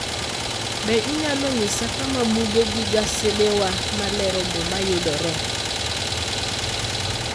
Be inyalo nyisa kama buge gi gasedewa ma lero Muma yudoree?